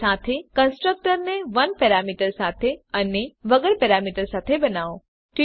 એ સાથે કન્સ્ટ્રકટર ને ૧ પેરામીટર સાથે અને વગર પેરામીટર સાથે બનાવો